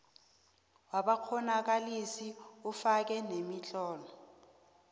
wabakghonakalisi ufake nemitlolo